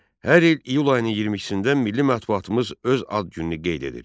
Hər il iyul ayının 22-də Milli Mətbuatımız öz ad gününü qeyd edir.